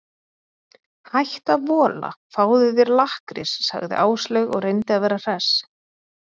Hættu að vola, fáðu þér lakkrís sagði Áslaug og reyndi að vera hress.